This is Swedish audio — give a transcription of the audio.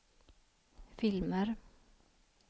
filmer